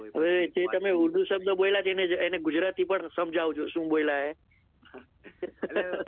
હવે જે તમે ઉર્દુ શબ્દ બોલ્યા તેને ગુજરાતી પણ સમજાવજો શું બોલ્યા એ